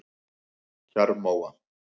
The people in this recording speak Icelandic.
Kjarrmóa